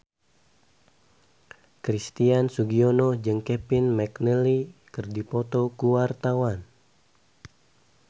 Christian Sugiono jeung Kevin McNally keur dipoto ku wartawan